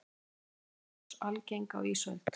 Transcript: voru eldgos algeng á ísöld